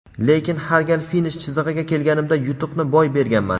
lekin har gal finish chizig‘iga kelganimda yutuqni boy berganman.